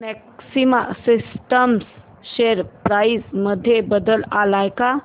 maxima systems share price मध्ये बदल आलाय का